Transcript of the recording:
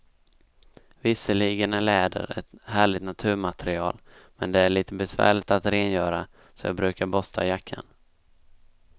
Visserligen är läder ett härligt naturmaterial, men det är lite besvärligt att rengöra, så jag brukar borsta jackan.